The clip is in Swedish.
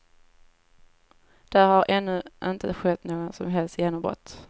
Där har ännu inte skett något som helst genombrott.